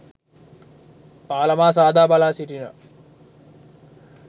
පාලමා සාදා බලා සිටිනවා